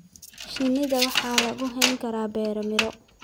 Shinida waxaa lagu hayn karaa beero miro.